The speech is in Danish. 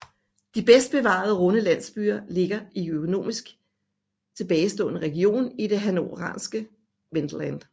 De bedst bevarede runde landsbyer ligger i økonomisk tilbagestående region i det hannoveranske Wendland